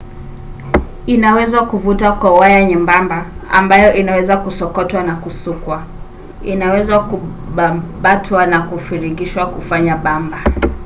inaweza kuvutwa na kuwa waya nyembamba ambayo inaweza kusokotwa na kusukwa. inaweza kubabatwa au kufiringishwa kufanya bamba